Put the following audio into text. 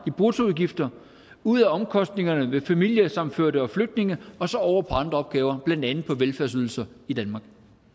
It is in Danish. i bruttoudgifter ud af omkostningerne ved familiesammenførte og flygtninge og så over på andre opgaver blandt andet på velfærdsydelser i danmark